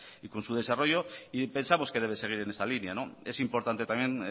y con su desarrollo y pensamos que debe seguir en esa línea es importante también